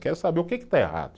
Quero saber o que que está errado.